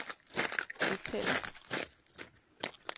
hoteller